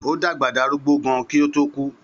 Ó dàgbà darúgbó gan kí ó to kù